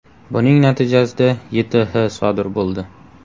Buning natijasida YTH sodir bo‘ldi.